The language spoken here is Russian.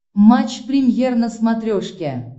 матч премьер на смотрешке